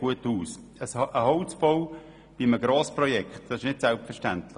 Ein Holzbau bei einem Grossprojekt ist nicht selbstverständlich.